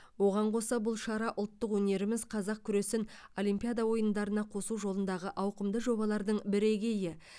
оған қоса бұл шара ұлттық өнеріміз қазақ күресін олимпиада ойындарына қосу жолындағы ауқымды жобалардың бірегейі